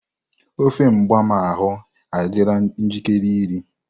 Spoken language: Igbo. Ofe mgbam ahu adịla njikere iri.